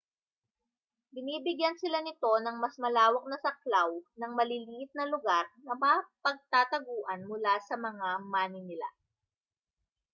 binibigyan sila nito ng mas malawak na saklaw ng maliliit na lugar na mapagtataguan mula sa mga maninila